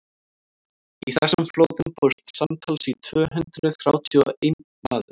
í þessum flóðum fórst samtals tvö hundruð þrjátíu og einn maður